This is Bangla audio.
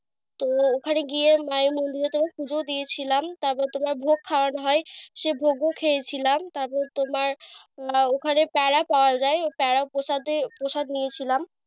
তো ওখনে গিয়ে মায়ের মন্দিরে তোমার পূজো দিয়েছিলাম। তারপর তোমার ভোগ খাওয়া হয়, সে ভোগও খেয়েছিলাম। তারপর তোমার আহ ওখানে প্যাড়া পাওয়া যায়, ওই প্যাড়া প্রসাদে প্রসাদ নিয়েছিলাম।